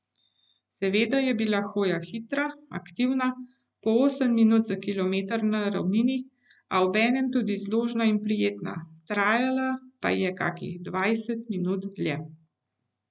Seveda je bila hoja hitra, aktivna, po osem minut za kilometer na ravnini, a obenem tudi zložna in prijetna, trajala pa je kakih dvajset minut dlje.